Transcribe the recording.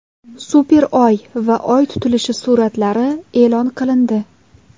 Super Oy va Oy tutilishi suratlari e’lon qilindi .